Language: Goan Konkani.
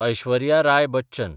ऐश्वर्या राय बच्चन